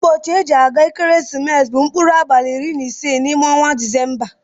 Ụbosi eji agba ekeresimesi bu nkpụrụ abali iri na ise na ime ọnwa disemba.